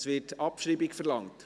Es wird Abschreibung verlangt.